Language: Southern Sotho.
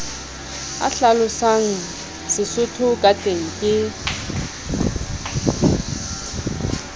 a hlalosang sesotho kateng ke